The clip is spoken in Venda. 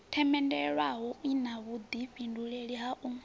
themendelwaho ina vhuḓifhindulei ha u